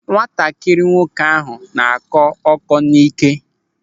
Nwatakịrị nwoke ahụ na-akọ ọ́kọ́ n'íké.